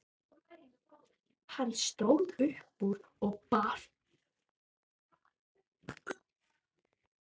Hann stóð upp og bar ályktun undir atkvæði.